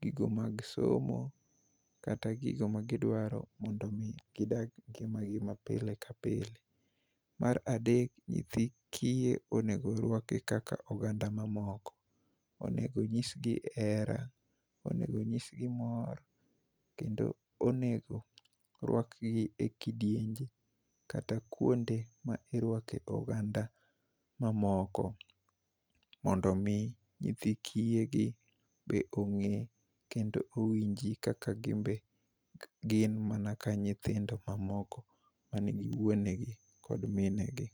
gigo mag somo, kaka gigo ma gidwaro mondo omi gidag ngima gi ma pile ka pile. Mar adek, nyithi kiye onego orwaki kaka oganda ma moko. Onego nyisgi hera, onego nyisgi mor, kendo onego rwakgi e kidienje kata kwonde ma irwake oganda mamoko. Mondo omi nyithi kiye gi be ongé, kendo owinji kaka gin be gin mana ka nyithindo ma moko ma nigi wuonegi kod minegi.